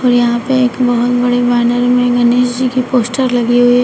यहां पे एक बहोत बड़े वानर में गणेश जी की पोस्टर लगी हुई है।